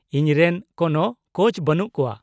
ᱼᱤᱧ ᱨᱮᱱ ᱠᱚᱱᱳ ᱠᱳᱪ ᱵᱟᱹᱱᱩᱜ ᱠᱚᱣᱟ ᱾